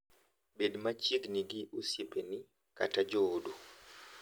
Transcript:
Bed machiegni gi osiepeni kata joodu.